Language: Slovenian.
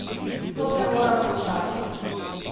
To se mora končati.